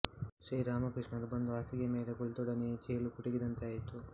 ಶ್ರೀರಾಮಕೃಷ್ಣರು ಬಂದು ಹಾಸಿಗೆಯ ಮೇಲೆ ಕುಳಿತೊಡನೆಯೇ ಚೇಳು ಕುಟುಕಿದಂತೆ ಆಯಿತು